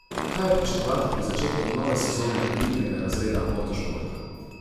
Kaj pričakovati pred začetkom nove sezone elitnega razreda motošporta?